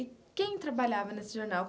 E quem trabalhava nesse jornal?